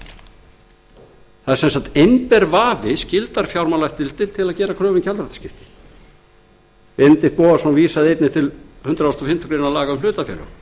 það er sem sagt einber vafi skyldar fjármálaleftirlitið til að gera kröfu um gjaldþrotaskipti benedikt bogason vísaði einnig til hundrað þrítugasta og áttundu grein laga um hlutafélög